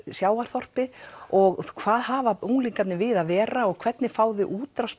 sjávarþorpi og hvaða hafa unglingarnir við að vera og hvernig fá þau útrás